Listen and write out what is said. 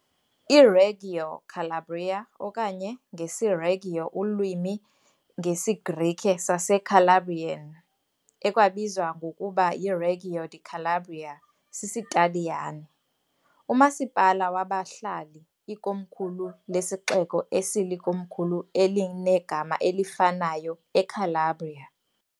IReggio Calabria, okanye, ngesiReggio ulwimi, ngesiGrike saseCalabrian, ekwabizwa ngokuba yiReggio di Calabria sisiTaliyane, umasipala wabahlali, ikomkhulu lesixeko esilikomkhulu elinegama elifanayo eCalabria.